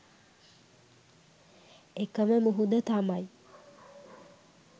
එකම මුහුද තමයි